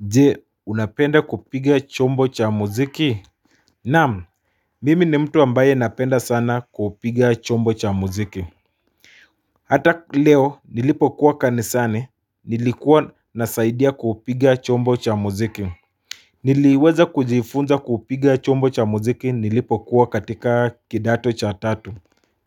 Je, unapenda kupiga chombo cha muziki. Naam mimi ni mtu ambaye napenda sana kupiga chombo cha muziki Hata leo nilipo kuwa kanisani nilikuwa nazaidia kupiga chombo cha muziki Niliweza kujifunza kupiga chombo cha muziki nilipo kuwa katika kidato cha tatu